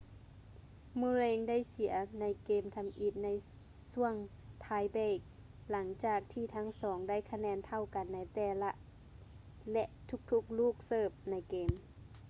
murray ໄດ້ເສຍໃນເກມທຳອິດໃນຊ່ວງໄທເບຼກ ຫຼັງຈາກທີ່ທັງສອງໄດ້ຄະແນນເທົ່າກັນໃນແຕ່ລະ ແລະ ທຸກໆລູກເສີບໃນເກມ